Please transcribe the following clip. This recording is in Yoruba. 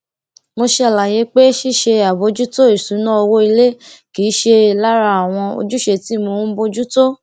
mo ṣe àlàyé pé ṣíṣe àbòjútó ìṣúná owó ilé kì í ṣe lára àwọn ojúṣe tí mò ń bójú tó